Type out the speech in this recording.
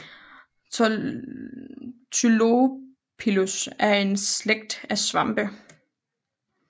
Tylopilus er en slægt af svampe